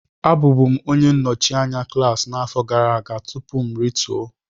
Abụbu m onye nnọchi anya klaasị afọ gara aga tupu m rituo